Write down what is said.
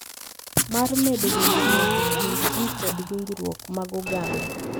Mar medo winjruok e kind ji kod winjruok mag oganda.